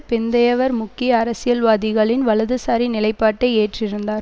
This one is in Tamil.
பிந்தையவர் முக்கிய அரசியல்வாதிகளின் வலதுசாரி நிலைப்பாட்டை ஏற்றிருந்தார்